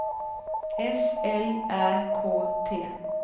S L Ä K T